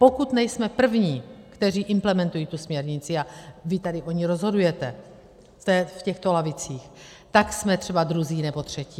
Pokud nejsme první, kteří implementují tu směrnici, a vy tady o ní rozhodujete v těchto lavicích, tak jsme třeba druzí nebo třetí.